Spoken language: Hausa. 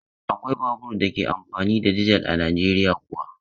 Akwai babur da ke amfani da dizel a Najeriya kuwa.